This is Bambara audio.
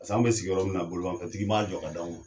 paseke an be sigiyɔrɔ min bolimafɛn tigi m'a jɔ ka di anw ma